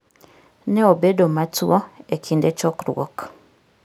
Ne obedo matuwo e kinde chokruok.